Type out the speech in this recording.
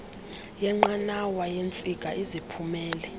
yenqanawa yeentsika eziphumela